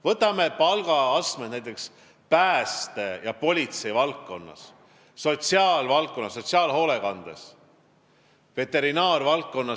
Võtame näiteks palgaastmed pääste- ja politseivaldkonnas, sotsiaalvaldkonnas, sotsiaalhoolekandes, veterinaaria valdkonnas.